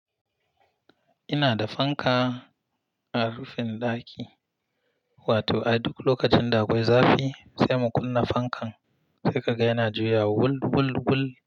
Ina da fanka a rufin ɗaki, wato a duk lokacin da akwai zafi sai mu kunna fankan sai ka ga yana juyawa wul wul wul.